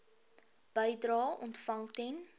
bedrae ontvang ten